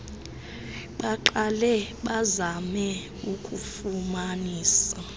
baqale bazame ukufumanisa